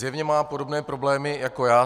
Zjevně má podobné problémy jako já.